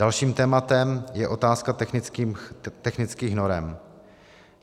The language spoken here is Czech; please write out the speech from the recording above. Dalším tématem je otázka technických norem.